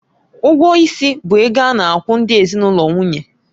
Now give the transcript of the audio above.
Ụgwọ ịsị bụ ego a na-akwụ ndị ezinụlọ nwunye